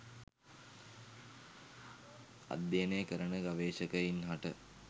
අධ්‍යයනය කරන ගවේශකයින් හට